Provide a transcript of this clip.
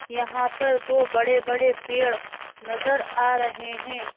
यहाँ पर दो बड़े-बड़े पेड़ नजर आ रहे हैं।